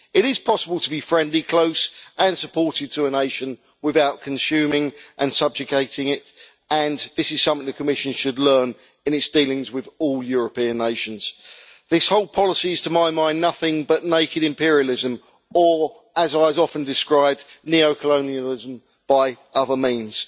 It is possible to be friendly, close and supportive to a nation without consuming and subjugating it, and this is something the Commission should learn in its dealings with all European nations. This whole policy is, to my mind, nothing but naked imperialism or, as it is often described, neo colonialism by other means.